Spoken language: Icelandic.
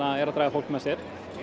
eru að draga fólk með sér